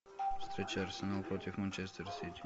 встреча арсенал против манчестер сити